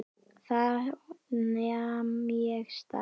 Þá nam ég staðar.